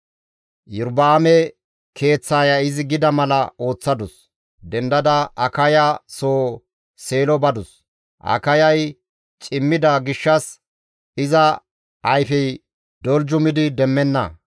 Iyorba7aame keeththaaya izi gida mala ooththadus; dendada Akaya soo Seelo badus. Akayay cimmida gishshas iza ayfey doljumidi demmenna.